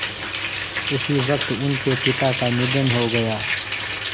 उसी वक़्त उनके पिता का निधन हो गया